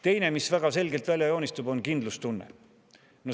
Teine, mis väga selgelt välja joonistub, on kindlustunne.